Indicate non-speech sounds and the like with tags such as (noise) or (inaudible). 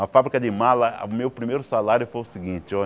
Na fábrica de mala, meu primeiro salário foi o seguinte, (unintelligible)